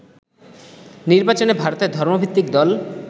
নির্বাচনে ভারতের ধর্মভিত্তিক দল